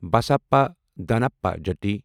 بسَپا داناپا جتی